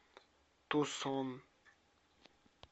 тусон